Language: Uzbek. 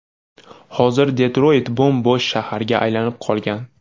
Hozir Detroyt bo‘m-bo‘sh shaharga aylanib qolgan.